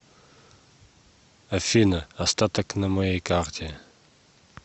афина остаток на моей карте